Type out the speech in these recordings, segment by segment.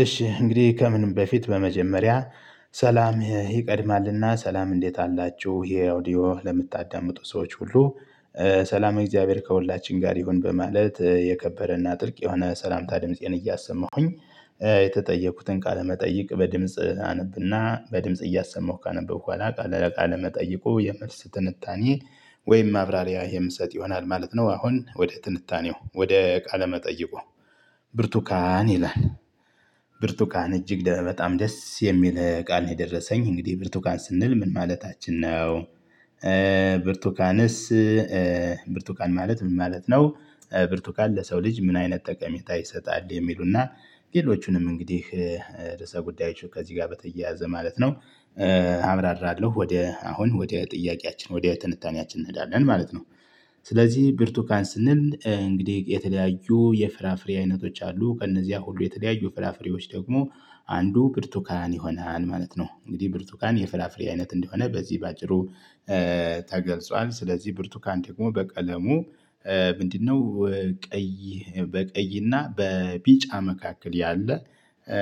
እሺ፣ እንግዲህ ከምንም በፊት በመጀመሪያ ሰላም ይቀድማልና፣ ሰላም እንዴት አላችሁ፤ ይሄ ኦዲዮ ለምታዳምጡ ሰዎች ሁሉ ሰላም እግዚአብሔር ከሁላችን ጋር ይሁን፤ በማለት የከበረና ጥልቅ የሆነ ሰላምታ ድምፄን እያሰማሁኝ። የተጠየኩትን ቃለመጠይቅ በድምጽ አነብና በድምጽ እያሰማሁ ካነበብኩ በኋላ ለቃለ መጠይቁ የመልስ ትንታኔ ወይም ማብራሪያ የምሰጥ ይሆናል ማለት ነው፤ አሁን ወደ ትንታኔው ወደ ቃለ መጠይቁ፤ ብርቱካን ይላል ብርቱካን እጅግ በጣም ደስ የሚል ቃል ነው። የደረሰኝ እንግዲህ ብርቱካን ስንል ምን ማለታችን ነው? ብርቱካንስ፣ ብርቱካን ማለት ምን ማለት ነው፤ ብርቱካን ለሰው ልጅ ምን አይነት ጠቀሜታ ይሰጣል፤ የሚሉና ሌሎቹንም እንግዲህ ርዕሰ ጉዳዮች ከዚህ ጋር በተያያዘ ማለት ነው። አብራራለሁ፣ ወደ አሁን ወደ ጥያቄያችን ወደ ትንታኔያችን እንሄዳለን ማለት ነው፤ ስለዚህ ብርቱካን ስንል እንግዲህ የተለያዩ የፍራፍሬ አይነቶች አሉ፤ ከእነዚያ ሁሉ የተለያዩ ፍራፍሬዎች ደግሞ አንዱ ብርቱካን ይሆናል ማለት ነው፤ እንግዲህ ብርቱካን የፍላፍሬ አይነት እንደሆነ በዚህ በአጭሩ ተገልጾ ስለዚህ ብርቱካን ደግሞ በቀለሙ ምንድነው፣ ቀይ በቀይና በቢጫ መካከል ያለ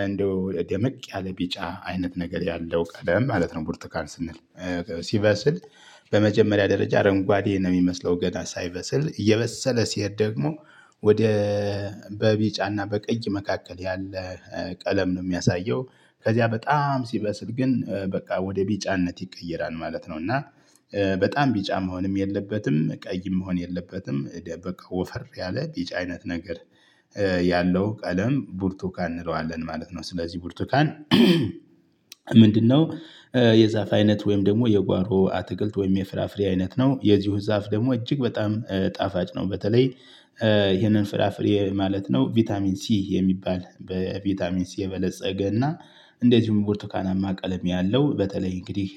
እንደው ደመቅ ያለ ቢጫ አይነት ነገር ያለው ቀደም ማለት ነው ቡርቱካን ስንል፤ ሲበስል በመጀመሪያ ደረጃ አረንጓዴ ነው የሚመስለው ገና ሳይበስል፤ እየበሰለ ሲሄድ ደግሞ ወደ በቢጫና በቀይ መካከል ያለ ቀለም ነው የሚያሳየው፤ ከዚያ በጣም ሲበስል ግን በቃ ወደ ቢጫነት ይቀየራል ማለት ነው። እና በጣም ቢጫ መሆንም የለበትም፤ ቀይም መሆን የለበትም ደምቅ፣ ወፈር ያለ፣ ቢጫ አይነት ነገር ያለው ቀለም ቡርቱካን እንለዋለን ማለት ነው፤ ስለዚህ ቡርቱካን ምንድነው? የዛፍ አይነት ወይም ደግሞ የጓሮ አትክልት ወይም የፍራፍሬ አይነት ነው፤ የዚሁ ዛፍ ደግሞ እጅግ በጣም ጣፋጭ ነው። በተለይ ይሄንን ፍራፍሬ ማለት ነው፣ ቫይታሚን ሲ የሚባል በቫይታሚን ሲ የበለፀገና እንደዚሁም ቡርቱካናማ ቀለም ያለው፣ በተለይ እንግዲህ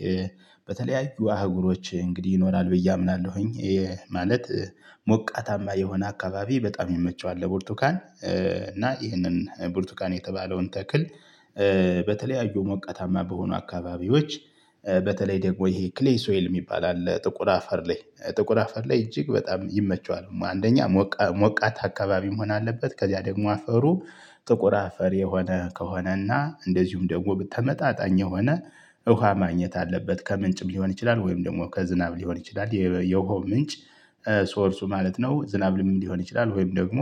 በተለያዩ አህጉሮች እንግዲህ ይኖራል ብዬ አምናለሁኝ ይሄ ማለት ሞቃታማ የሆነ አካባቢ በጣም ይመቸዋል ለቡርቱካን፣ እና ይህንን ብርቱካን የተባለውን ተክል በተለያዩ ሞቃታማ በሆኑ አካባቢዎች በተለይ ደግሞ ይሄ ክሌይ ሶይል የሚባል አለ ጥቁር አፈር ላይ፣ ጥቁር አፈር ላይ እጅግ በጣም ይመቸዋል፤ አንደኛ፣ ሞቃት አካባቢ መሆን አለበት፤ ከዚያ ደግሞ አፈሩ ጥቁር አፈር የሆነ ከሆነና እንደዚሁም ደግሞ በተመጣጣኝ የሆነ ውሃ ማግኘት አለበት፤ ከምንጭም ሊሆን ይችላል፣ ወይም ደግሞ ከዝናብ ሊሆን ይችላል የየውሃው ምንጭ ሶርሱ ማለት ነው፤ ዝናብም ሊሆን ይችላል። ወይም ደግሞ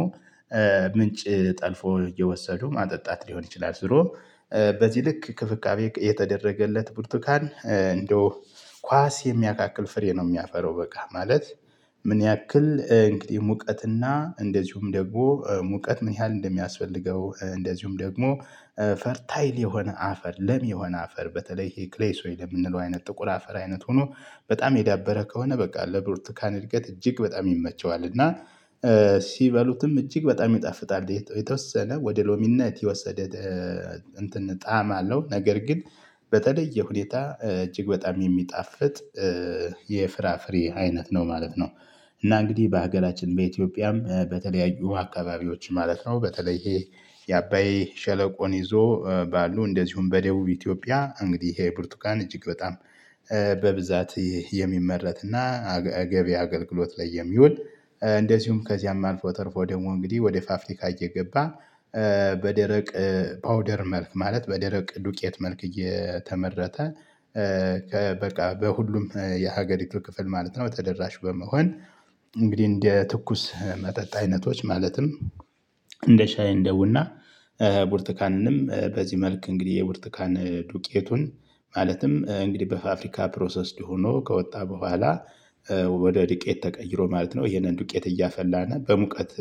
ምንጭ ጠልፎ እየወሰዱ ማጠጣት ሊሆን ይችላል። ዝሮ በዚህ ልክ እንክብካቤ የተደረገለት ብርቱካን እንደው ኳስ የሚያካክል ፍሬ ነው የሚያፈራው፤ በቃ ማለት ምን ያክል እንግዲህ ሙቀትና፣ እንደዚሁም ደግሞ ሙቀት ምን ያህል እንደሚያስፈልገው እንደዚሁም ደግሞ ፈርታይል የሆነ አፈር፣ ለም የሆነ አፈር፣ በተለይ ይሄ ክሌስ ሶይል የምንለው አይነት ጥቁር አፈር አይነት ሆኖ በጣም የዳበረ ከሆነ በቃ፣ ለብሩቱካን እድገት እጅግ በጣም ይመቸዋል እና። ሲበሉትም እጅግ በጣም ይጣፍጣል፤ የተወሰነ ወደ ሎሚነት የወሰደ እንትን ጣዕም አለው፤ ነገር ግን በተለየ ሁኔታ እጅግ በጣም የሚጣፍጥ የፍራፍሬ አይነት ነው ማለት ነው፤ እና እንግዲህ በአገላችን በኢትዮጵያም፣ በተለያዩ አካባቢዎች ማለት ነው፤ በተለይ ይሄ የአባይ ሸለቆን ይዞ ባሉ፤ እንደዚሁም በደቡብ ኢትዮጵያ እንግዲህ ይሄ ብርቱካን እጅግ በጣም በብዛት የሚመረትና ገቢ አገልግሎት ላይ የሚውል፤ እንደዚሁም ከዚያም አልፎ ተርፎ ደግሞ እንግዲህ ወደ ፋብሪካ እየገባ፤ በደረቅ ፓውደር መልክ፣ ማለት በደረቅ ዱቄት መልክ እየተመረተ በቃ በሁሉም የሀገሪቱ ክፍል ማለት ነው፤ ተደራሽ በመሆን እንግዲህ እንደ ትኩስ መጠጥ አይነቶች፤ ማለትም፣ እንደ ሻይ፣ እንደ ቡና፣ ቡርትካንንም በዚህ መልክ እንግዲህ የቡርቱካን ዱቄቱን፤ ማለትም እንግዲህ በፋብሪካ ፕሮሰስድ ሆኖ ከወጣ በኋላ፤ ወደ ድቄት ተቀይሮ ማለት ነው፤ ይሄንን ድቄት እያፈላን በሙቀት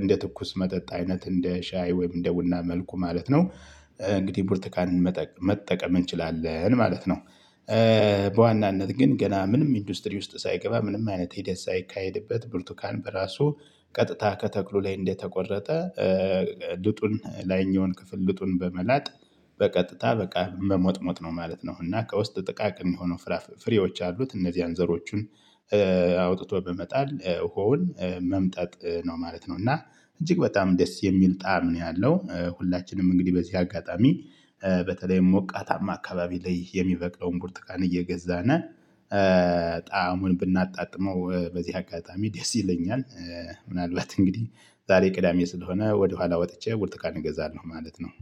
እንደ ትኩስ መጠጥ አይነት እንደ ሻይ ወይም እንደ ቡና መልኩ ማለት ነው፤ እንግዲህ ቡርቱካንን መጠቀም መጠቀም እንችላለን ማለት ነው፤ በዋናነት ግን ገና ምንም ኢንዱስትሪ ውስጥ ሳይገባ ምንም አይነት ሂደት ሳይካሄድበት፤ ብርቱካን በራሱ ቀጥታ ከተክሉ ላይ እንደተቆረጠ፤ ልጡን ላይኛውን ክፍል ልጡን በመላጥ በቀጥታ በቃ መሞጥሞጥ ነው ማለት ነው፤ እና ከውስጥ ጥቃቅን የሆነው ፍራፍሬዎች አሉት እነዚያን ዘሮቹን አውጥቶ በመጣል ዉሃውን መምጠጥ ነው ማለት ነው፤ እና እጅግ በጣም ደስ የሚል ጣዕም ነው ያለው። ሁላችንም እንግዲህ በዚህ አጋጣሚ በተለይም ወቃታማ አካባቢ ላይ የሚበቅለውን ቡርቱካን እየገዛን፤ ጣዕሙን ብናጣጥመው በዚህ አጋጣሚ ደስ ይለኛል፤ ምናልባት እንግዲህ ዛሬ ቅዳሜ ስለሆነ ወደኋላ ወጥቼ ቡርቱካን እገዛለሁ ማለት ነው፤